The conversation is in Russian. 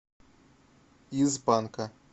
из панка